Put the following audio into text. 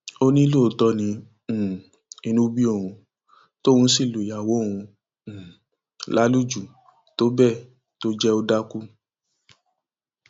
ó ní lóòótọ ni um inú bí òun tóun sì lu ìyàwó òun um lálùjù tó bẹẹ tó jẹ ò dákú